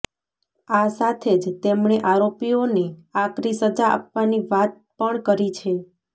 આ સાથે જ તેમણે આરોપીઓને આકરી સજા આપવાની વાત પણ કરી છે